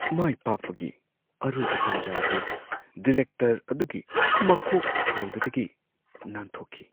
ꯃꯥꯏꯄꯥꯛꯄꯒꯤ ꯑꯔꯣꯏꯕ ꯇꯟꯖꯥ ꯑꯗꯨ ꯗꯤꯔꯦꯛꯇꯔ ꯑꯗꯨꯒꯤ ꯃꯀꯣꯛ ꯍꯥꯏꯕꯗꯒꯤ ꯅꯥꯟꯊꯣꯛꯈꯤ꯫